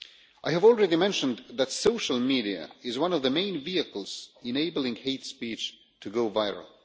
I have already mentioned that social media is one of the main vehicles enabling hate speech to go viral.